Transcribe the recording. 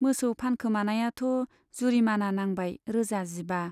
मोसौ फानखोमानायाथ' जुरिमाना नांबाय रोजा जिबा।